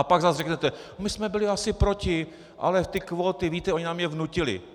A pak zas řeknete: My jsme byli asi proti, ale ty kvóty, víte, oni nám je vnutili.